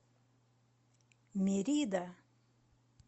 мерида